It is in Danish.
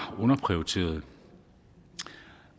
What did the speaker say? underprioriteret